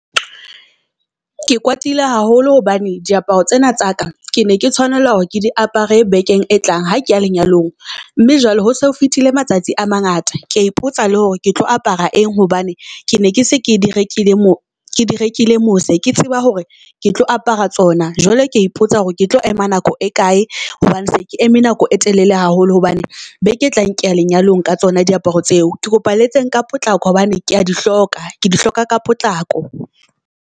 Ke kwatile haholo hobane diaparo tsena tsa ka ke ne ke tshwanela hore ke di apare bekeng e tlang, ha ke ya lenyalong. Mme jwale ho se fetile matsatsi a mangata. Kea ipotsa le hore ke tlo apara eng hobane ke ne ke se ke di rekile mo ke di rekile mose ke tseba hore ke tlo apara tsona. Jwale kea ipotsa hore ke tlo ema nako e kae hobane se ke eme nako e telele haholo hobane beke e tlang kea lenyalong ka tsona diaparo tseo. Ke kopa le etseng ka potlako hobane kea di hloka, ke di hloka ka potlako.